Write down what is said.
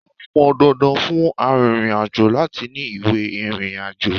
Ó pọn dandan fún arìnrìn-àjò láti ní ìwé ìrìnàjò.